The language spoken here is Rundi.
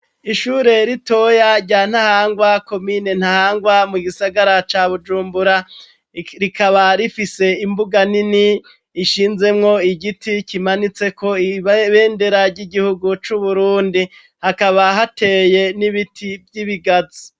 Ishure ritoya rya Ntahangwa komine Ntahangwa mu gisagara ca Bujumbura rikaba rifise imbuga nini ishinzemwo igiti kimanitseko ibendera ry'igihugu c'Uburundi hakaba hateye n'ibiti by'ibigazi.